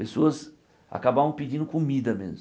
Pessoas acabavam pedindo comida mesmo.